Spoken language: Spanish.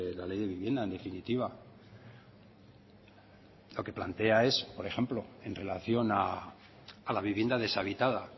la ley de vivienda en definitiva lo que plantea es por ejemplo en relación a la vivienda deshabitada